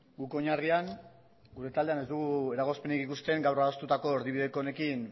guk oinarrian gure taldean ez dugu eragozpenik ikusten gaur adostutako erdibideko honekin